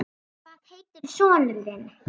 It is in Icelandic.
Hvað heitir sonur þinn?